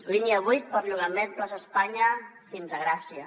línia vuit perllongament plaça espanya fins a gràcia